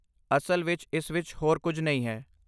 ਅਸਲ ਵਿੱਚ ਇਸ ਵਿੱਚ ਹੋਰ ਕੁਝ ਨਹੀਂ ਹੈ।